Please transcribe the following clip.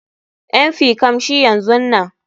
MP,kamshi yanzun Nan.